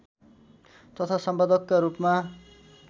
तथा सम्पादकका रूपमा